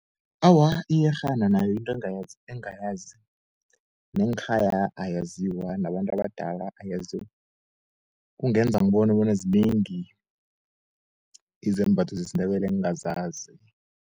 Awa, iyerhana nayo into engayazi nenkhaya ayaziwa, nabantu abadala ayaziwa kungenza bone bona zinengi izembatho zesindebele engazazi.